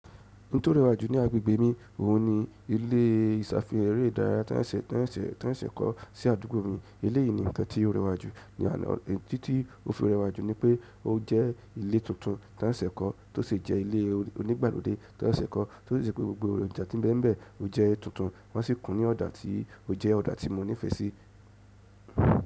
Ntó rẹwà jù ní agbègbè mi, òun ni ilé ìsàfihàn eré ìdárayá tàn sẹ tàn sẹ tàn sẹ kọ sí àdúgbò mi. Eléyìí ni nǹkan tí ó rẹwà jù ní àná. Ẹ̀tí tí ó fi rẹwà jù ni pé ó jẹ́ ilé tuntun tàn sesẹ kọ tó sì jẹ́ ilé onígbàlódé tàn sesẹ kọ, tó sì je pé gbogbo ọjà tí n bẹ́ẹ̀ n bẹ́ẹ̀, ó jẹ́ tuntun wọ́n sì kùn ní ọ̀dà tí ó jẹ́ ọ̀dà tí mo nífẹ̀ẹ́ sí.